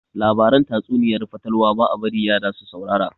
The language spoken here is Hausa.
Labaran tatsuniayar fatalwa ba a barin yara su saurara